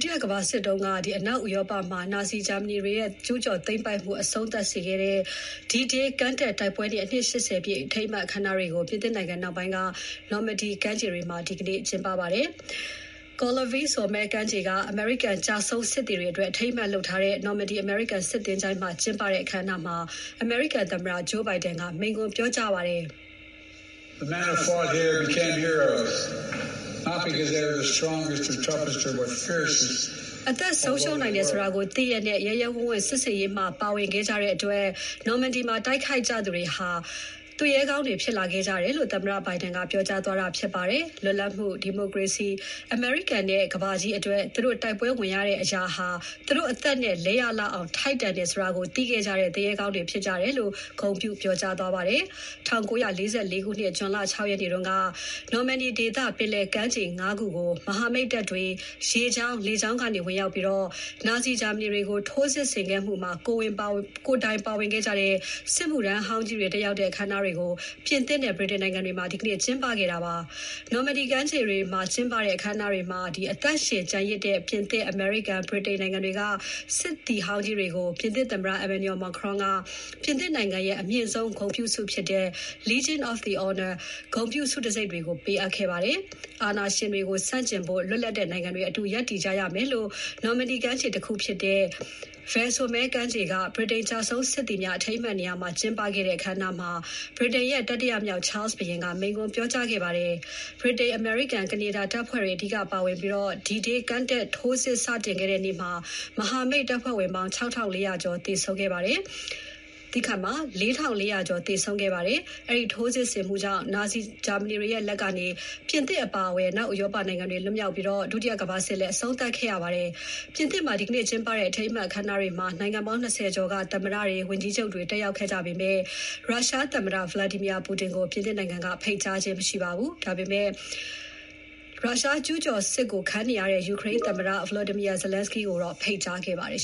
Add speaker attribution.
Speaker 1: တိယကမ္ဘာစစ်တုန်းက အနောက်ဥရောပမှာ နာဇီဂျာမနီတွေရဲ့ ကျူးကျော်သိမ်းပိုက်မှု အဆုံးသတ်စေခဲ့တဲ့ D-Day ကမ်းတက်တိုက်ပွဲနေ့ အနှစ် ၈၀ ပြည့်အထိမ်းအမှတ် အခမ်းအနားတွေကို ပြင်သစ်နိုင်ငံမြောက်ပိုင်း Normandy ကမ်းခြေတွေမှာ ဒီနေ့ကျင်းပပါတယ်။ Colleville-sur-Mer ကမ်းခြေက အမေရိကန်ကျဆုံးစစ်သည်တွေအတွက် အထိန်းအမှတ်လုပ်ထားတဲ့ Normandy အမေရိကန်စစ်သင်္ချိုင်းမှာ ကျင်းပတဲ့ အခမ်းအနားမှာ အမေရိကန်သမ္မတ Joe Biden က မိန့်ခွန်းပြောကြားခဲ့ပါတယ်။ "အသက်ဆုံးရှုံးနိုင်တယ်ဆိုတာကို သိရက်နဲ့ ရဲရဲဝံ့ဝံ့ စစ်ဆင်ရေးမှာ ပါဝင်ခဲ့ကြတဲ့အတွက် နော်မန်ဒီမှာ တိုက်ခိုက်ခဲ့ကြသူတွေဟာ သူရဲကောင်းတွေ ဖြစ်လာခဲ့ကြတယ်" လို့ သမ္မတ Biden ကပြောကြားသွားတာဖြစ်ပါတယ်။ လွတ်လပ်မှု၊ ဒီမိုကရေစီ၊ အမေရိကန်နဲ့ ကမ္ဘာကြီးအတွက် သူတို့တိုက်ပွဲဝင်ရတဲ့ အရာဟာ သူတို့အသက်နဲ့ လဲရလောက်အောင် ထိုက်တန်တယ်ဆိုတာကို သိခဲ့ကြတဲ့ သူရဲကောင်းတွေ ဖြစ်ကြတယ်လို့ ဂုဏ်ပြုပြောကြားခဲ့ပါတယ်။ ၁၉၄၄ ခုနှစ် ဇွန်လ ၆ ရက်နေ့က Normandy ဒေသ ပင်လယ်ကမ်းခြေ ၅ ခုကို မဟာမိတ်တပ်တွေ ရေကြောင်း လေကြောင်းကနေ ဝင်‌ရောက်ပြီး နာဇီဂျာမနီတွေကို ထိုးစစ်ဆင်ခဲ့မှုမှာ ကိုယ်တိုင်ပါဝင်ခဲ့ကြတဲ့ စစ်မှုထမ်းဟောင်းကြီးတွေ တက်ရောက်တဲ့ အခမ်းအနားတွေကို ပြင်သစ်နဲ့ ဗြိတိန်နိုင်ငံတွေမှာ ဒီနေ့ကျင်းပခဲ့တာပါ။ Normandy ကမ်းခြေတွေမှာ ကျင်းပခဲ့တဲ့ အခမ်းအနားတွေမှာ အသက်ရှင်ကျန်ရစ်တဲ့ ပြင်သစ်၊ အမေရိကန်၊ ဗြိတိန်နိုင်ငံတွေက စစ်သည်ဟောင်းကြီးတွေကို ပြင်သစ်သမ္မတ Emmanuel Macron က ပြင်သစ်နိုင်ငံရဲ့ အမြင့်ဆုံး ဂုဏ်ပြုဆုဖြစ်တဲ့ Légion d'honneur ဂုဏ်ပြုဆုတံဆိပ်တွေ ပေးအပ်ခဲ့ပါတယ်။ အာဏာရှင်တွေကို ဆန့်ကျင်ဖို့ လွတ်လပ်တဲ့ နိုင်ငံတွေအတူရပ်တည်ကြရမယ်လို့ Normandy ကမ်းခြေတခုဖြစ်တဲ့ Ver-sur-Mer ကမ်းခြေက ဗြိတိန်ကျဆုံးစစ်သည်များ အထိမ်းအမှတ်နေရာမှာ ကျင်းပခဲ့တဲ့ အခမ်းအနားမှာ ဗြိတိန်ရဲ့ တတိယမြောက် Charles ဘုရင်က မိန့်ခွန်း ပြောကြားခဲ့ပါတယ်။ ဗြိတိန်၊ အမေရိကန်နဲ့ ကနေဒါ တပ်ဖွဲ့ဝင်တွေ အဓိကပါဝင်ပြီး D-Day ကမ်းတက်ထိုးစစ် စတင်တဲ့ နေ့မှာ မဟာမိတ်တပ်ဖွဲ့ဝင်ပေါင်း ၄ ထောင့် ၄ ရာကျော် သေဆုံးခဲ့ပါတယ်။ အဲဒီထိုးစစ်ဆင်မှုကြောင့် နာဇီဂျာမနီတွေရဲ့ လက်ကနေ ပြင်သစ်အပါအဝင် အနောက်ဥရောပနိုင်ငံတွေ လွတ်မြောက်ပြီး ဒုတိယကမ္ဘာစစ် အဆုံးသတ်ခဲ့ရပါတယ်။ ပြင်သစ်နိုင်ငံမှာ ဒီနေ့ကျင်းပတဲ့ အထိမ်းအမှတ် အခမ်းအနားတွေမှာ နိုင်ငံပေါင်း ၂၀ ကျော်က သမ္မတတွေ ဝန်ကြီးချုပ်တွေ တက်ရောက်ကြပေမဲ့ ရုရှားသမ္မတ Vladimir Putin ကို ပြင်သစ်နိုင်ငံက ဖိတ်ကြားခြင်းမရှိပါဘူး။ ဒါပေမဲ့ ရုရှားကျူးကျော်စစ်ကို ခုခံနေရတဲ့ ယူကရိန်းသမ္မ Volodymyr Zelensky ကိုဖိတ်ကြားခဲ့ပါတယ်